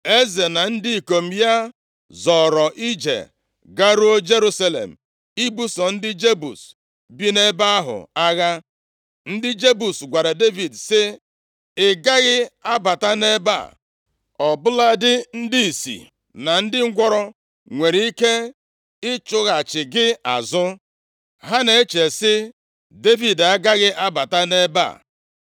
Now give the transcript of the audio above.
Eze na ndị ikom ya zọọrọ ije garuo Jerusalem ibuso ndị Jebus bi nʼebe ahụ agha. Ndị Jebus gwara Devid sị, “Ị gaghị abata nʼebe a, ọ bụladị ndị ìsì na ndị ngwụrọ nwere ike ịchụghachi gị azụ.” Ha na-eche sị, “Devid agaghị abata nʼebe a,”